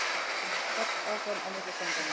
Hart áfram á milli stanganna